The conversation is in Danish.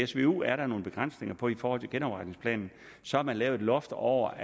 svu er der nogle begrænsninger på i forhold til genopretningsplanen så har man lavet et loft over